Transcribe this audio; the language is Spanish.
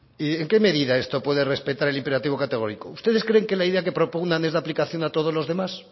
y en qué medida esto puede respetar el imperativo categórico ustedes creen que la idea que propugnan es de aplicación a todos los demás